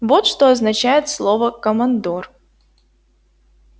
вот что означает слово командор